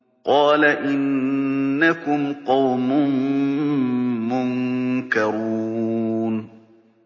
قَالَ إِنَّكُمْ قَوْمٌ مُّنكَرُونَ